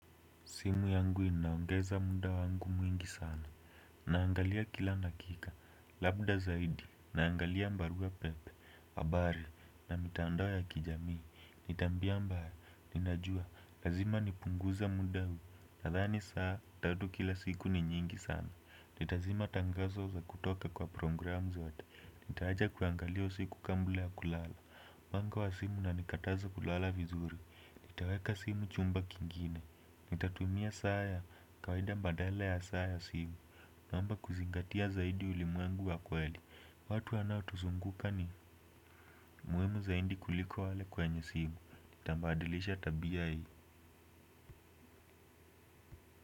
Simu yangu inaongeza muda wangu mwingi sana, naangalia kila dakika, labda zaidi, naangalia barua pepe, habari, na mitandao ya kijamii, ni tabia mbaya, ninajua, lazima nipunguze muda huu, nathani saa, tatu kila siku ni nyingi sana, nitazima tangazo la kutoka kwa programu zote, nitaacha kuangalia usiku kabla ya kulala, mwanga wa simu unanikataza kulala vizuri, nitaweka simu chumba kingine, nitatumia saa ya, kawaida badala ya saa ya simu. Naomba kuzingatia zaidi ulimwengu wa kweli. Watu wanao tuzunguka ni muhimu zaidi kuliko wale kwenye simu. Nitabadilisha tabia hii.